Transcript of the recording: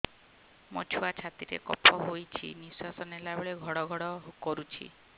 ମୋ ଛୁଆ ଛାତି ରେ କଫ ହୋଇଛି ନିଶ୍ୱାସ ନେଲା ବେଳେ ଘଡ ଘଡ କରୁଛି